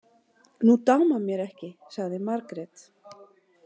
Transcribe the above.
Nú dámar mér ekki, sagði Margrét.